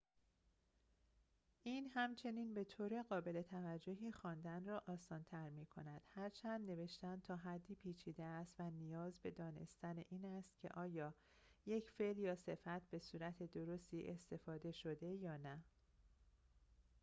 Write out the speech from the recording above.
این همچنین به‌طور قابل توجهی خواندن را آسان‌تر می‌کند هرچند نوشتن تا حدی پیچیده است و نیاز به دانستن این است که آیا یک فعل یا صفت به صورت درستی استفاده شده یا نه